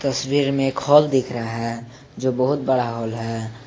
तस्वीर में एक हाल दिख रहा है जो बहुत बड़ा हाल है।